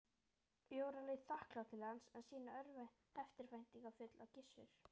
Jóra leit þakklát til hans en síðan eftirvæntingarfull á Gissur.